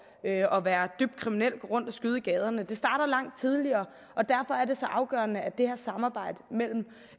og være dybt kriminel og gå rundt og skyde i gaderne det starter langt tidligere og derfor er det så afgørende at det her samarbejde mellem